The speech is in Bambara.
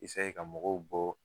ka mɔgɔw bɔ